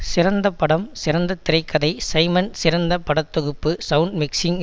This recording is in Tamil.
சிறந்த படம் சிறந்த திரை கதை சைமன் சிறந்த பட தொகுப்பு சவுண்ட் மிக்சிங்